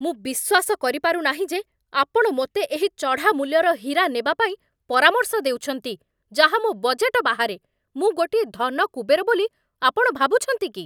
ମୁଁ ବିଶ୍ୱାସ କରିପାରୁନାହିଁ ଯେ ଆପଣ ମୋତେ ଏହି ଚଢ଼ାମୂଲ୍ୟର ହୀରା ନେବା ପାଇଁ ପରାମର୍ଶ ଦେଉଛନ୍ତି, ଯାହା ମୋ ବଜେଟ ବାହାରେ! ମୁଁ ଗୋଟିଏ ଧନ କୁବେର ବୋଲି ଆପଣ ଭାବୁଛନ୍ତି କି?